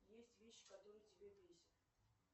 есть вещи которые тебя бесят